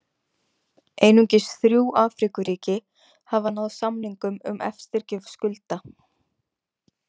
Einungis þrjú Afríkuríki hafa náð samningum um eftirgjöf skulda.